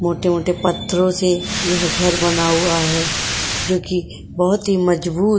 मोटे-मोटे पत्थरो से ये घर बना हुआ है जो कि बोहोत ही मजबूत --